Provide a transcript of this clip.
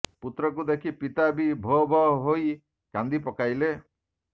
ପୁତ୍ରକୁ ଦେଖି ପିତା ବି ଭୋ ଭୋ ହୋଇ କାନ୍ଦି ପକାଇଲେ